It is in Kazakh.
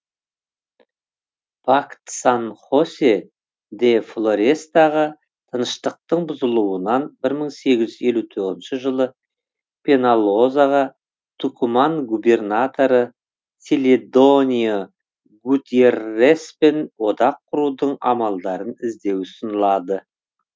пакт сан хосе де флорестағы тыныштықтың бұзылуынан бір мың сегіз жүз елу тоғызыншы жылы пеналозаға тукуман губернаторы селедонио гутьерреспен одақ құрудың амалдарын іздеу ұсынылады